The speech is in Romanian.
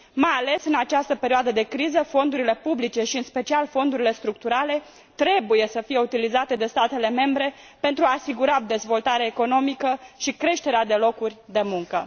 Mai ales în această perioadă de criză, fondurile publice, și în special Fondurile structurale, trebuie să fie utilizate de statele membre pentru a asigura dezvoltarea economică și creșterea numărului de locuri de muncă.